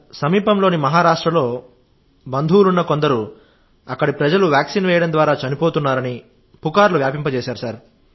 సమీపంలోని మహారాష్ట్రలో బంధువులున్న కొందరు అక్కడి ప్రజలు వ్యాక్సిన్ వేయడం ద్వారా చనిపోతున్నారని పుకార్లు వ్యాపింపజేశారు సార్